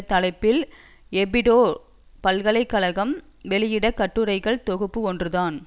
தலைப்பில் எபிடோ பல்கலை கழகம் வெளயிட்ட கட்டுரைகள் தொகுப்பு ஒன்றுதான்